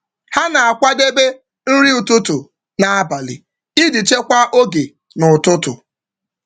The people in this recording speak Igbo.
Ha na-akwadebe nri ụtụtụ n’abalị iji ụtụtụ n’abalị iji chekwaa oge n’ụtụtụ.